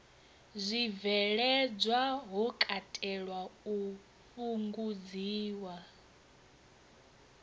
zwibveledzwa ho katelwa u fhungudziwa